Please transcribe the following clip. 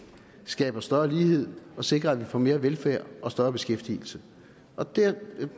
skaber større lighed og sikrer at vi får mere velfærd og større beskæftigelse